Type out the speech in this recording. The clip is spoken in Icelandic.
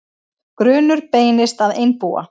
Grunur beinist að einbúa